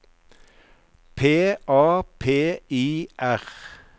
P A P I R